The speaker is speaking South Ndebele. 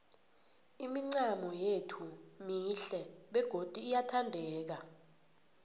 imincamo yethu mihle begodu iyathandeka